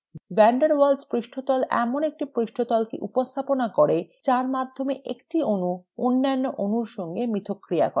van der waals পৃষ্ঠতল এমন একটি পৃষ্ঠতলকে উপস্থাপনা করে der মাধ্যমে একটি অণু অন্যান্য অণুর সঙ্গে মিথষ্ক্রিয়া করে